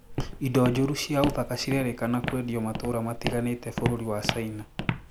Indo njũru cia ũthaka cirerĩkana kwendio matũra matiganĩte bũrũri wa caina